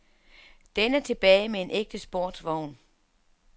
Den er tilbage med en ægte sportsvogn.